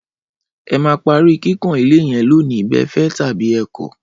Ẹ máa parí kíkàn ilé yẹn lónìí bẹ́ẹ fẹ́ tàbí ẹ kọ̀!